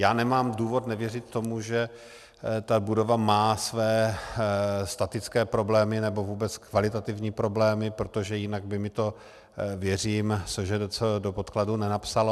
Já nemám důvod nevěřit tomu, že ta budova má své statické problémy nebo vůbec kvalitativní problémy, protože jinak by mi to, věřím, SŽDC do podkladů nenapsala.